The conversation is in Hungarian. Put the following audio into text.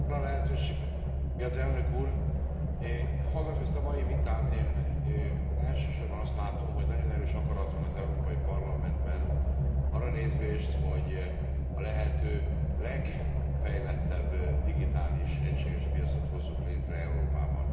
Köszönöm a lehetőséget, Elnök Úr! Hallgatva ezt a mai vitát, én elsősorban azt látom, hogy nagyon erős akarat van az Európai Parlamentben arra nézvést, hogy a lehető legfejlettebb digitális egységes piacot hozzuk létre Európában.